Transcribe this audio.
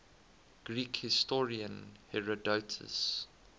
greek historian herodotus